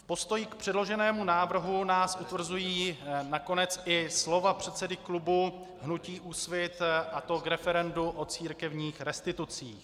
V postoji k předloženému návrhu nás utvrzují nakonec i slova předsedy klubu hnutí Úsvit, a to k referendu o církevních restitucích.